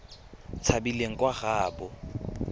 tshabileng kwa nageng ya gaabo